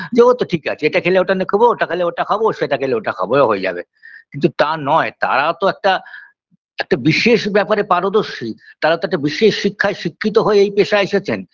যে ওতো ঠিক আছে এটা খেলে ওটা না খাবো ওটা খেলে ওটা খাবো সেটা খেলে ওটা খাবো ও হয়ে যাবে কিন্তু তা নয় তারাও তো একটা একটা বিশেষ ব্যাপারে পারদর্শী তারা তো একটা বিশেষ শিক্ষায় শিক্ষিত হয়েই এই পেশায় এসেছেন